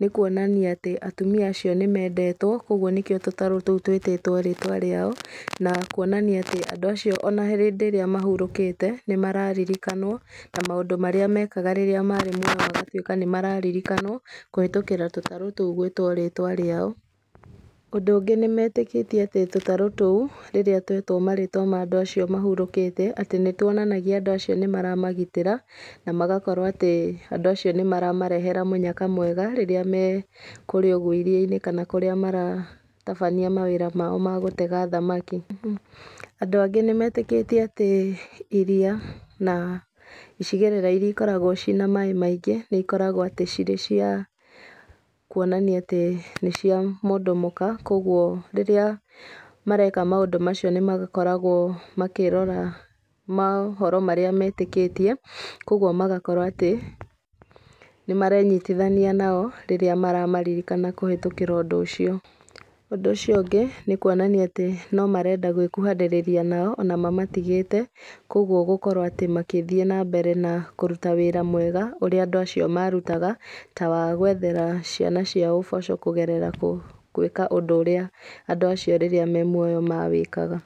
nĩ kuonania atĩ atumia acio nĩmendetwo, koguo nĩkĩo tũtarũ tũu twĩtĩtwo rĩtwa rĩao, na kuonania andũ acio ona hĩndĩ ĩrĩa mahurũkĩte, nĩ mararirikanwo, na maũndũ marĩa mekaga rĩrĩa marĩ muoyo nĩmatuĩka nĩ mararirikanwo, kũhĩtũkĩra tũtarũ tũu gwĩtwo rĩtwa rĩao. Ũndũ ũngĩ nĩmetĩkĩtie atĩ tũtarũ tũu rĩrĩa twetwo marĩtwa ma andũ acio mahurũkĩte, nĩ tuonanagia andũ acio nĩ maramagitĩra, na magakorwo atĩ, andũ acio nĩmaramarehera mũnyaka mwega rĩrĩa mekũũrĩa iria-inĩ kana kũrĩa maratabania mawĩra mao magũtega thamaki. Andũ angĩ nĩmerĩkĩtie atĩ, iria na icigĩrĩra iria ikoragwo ciĩna maaĩ maingĩ, nĩ ikoragwo ciĩ cia kuonania atĩ nĩ cia mũndũ mũka, koguo rĩrĩa mareka maũndũ macio nĩmakoragwo makĩrora mohoro marĩa metĩkĩtie, koguo magakora atĩ, nĩmarenyitithania nao rĩrĩa maramaririkana kũhetũkĩra ũndũ ũcio. Ũndũ ũcio ũngĩ, nĩ kũonania atĩ nomarenda gũkuhanĩrĩria nao, ona mamatigĩte, koguo gũkorwo atĩ magĩthiĩ nambere kũruta wĩra mwega ũrĩa andũ acio marutaga, ta wagwethera ciana ciao ũboco, kũgerera gũĩka ũndũ ũrĩa andũ acio rĩrĩa me muoyo mawĩkaga.